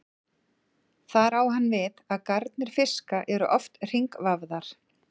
Þar á hann við að garnir fiska eru oft hringvafðar.